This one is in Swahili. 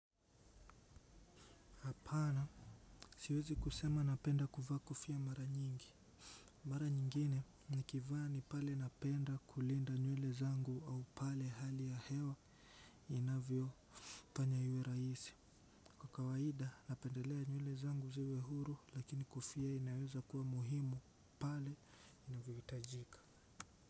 Hapana siwezi kusema napenda kuvaa kofia mara nyingi. Mara nyingine nikivaa ni pale napenda kulinda nywele zangu au pale hali ya hewa inavyo fanya iwe rahisi. Kwa kawaida napendelea nywele zangu ziwe huru lakini kofia inaweza kuwa muhimu pale inavyohitajika.